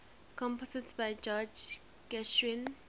compositions by george gershwin